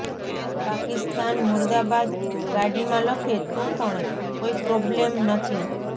પાકિસ્તાન મુર્દાબાદ ગાડીમાં લખે તો પણ કોઈ પ્રોબલેમ નથી